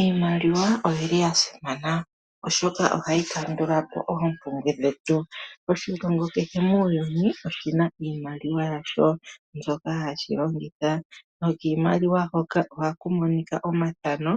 Iimaliwa oyili ya simana oshoka ohayi kandula po oompumbwe dhetu. Moshilongo kehe muuyuni oshina iimaliwa yasho mbyoka hashi longitha nokiimaliwa hoka ohaku monika omathano